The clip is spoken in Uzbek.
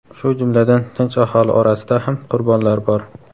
shu jumladan tinch aholi orasida ham qurbonlar bor.